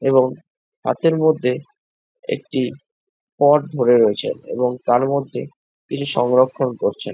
এবং হাতের মধ্যে একটি পট ধরে রয়েছে | এবং তার মধ্যে কিছু সংরক্ষণ করছেন।